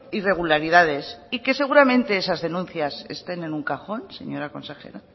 irregularidades y que seguramente esas denuncias estén en un cajón señora consejera